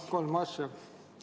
Jah, mul kolm asja.